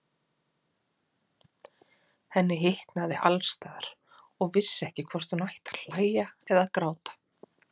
Henni hitnaði alls staðar og vissi ekki hvort hún átti að hlæja eða gráta.